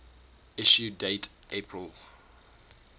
issue date april